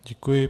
Děkuji.